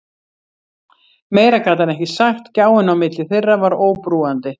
Meira gat hann ekki sagt, gjáin á milli þeirra var óbrúandi.